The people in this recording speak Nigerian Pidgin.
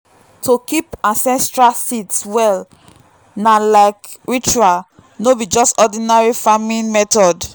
to keep ancestral seeds well na like ritual no be just ordinary farming method.